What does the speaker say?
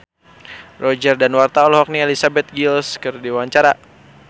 Roger Danuarta olohok ningali Elizabeth Gillies keur diwawancara